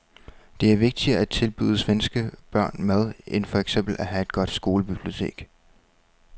Det er vigtigere at tilbyde svenske børn mad end for eksempel at have et godt skolebibliotek.